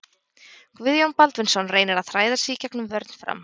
Guðjón Baldvinsson reynir að þræða sig í gegnum vörn Fram.